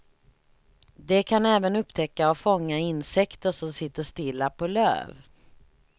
De kan även upptäcka och fånga insekter som sitter stilla på löv.